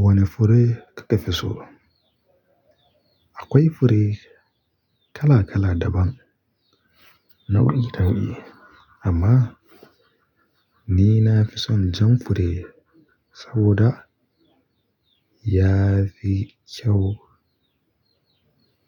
Wane fure kake fi so? Akwai fure kala kala daban nao'i nao'i amma ni nafison jan fure saboda yafi kyau